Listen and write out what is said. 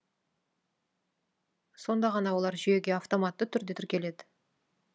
сонда ғана олар жүйеге автоматты түрде тіркеледі